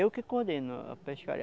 Eu que coordeno a pescaria.